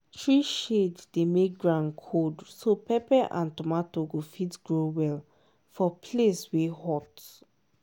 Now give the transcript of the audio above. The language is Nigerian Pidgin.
tree shade dey make ground cold so pepper and tomato go fit grow well for place wey hot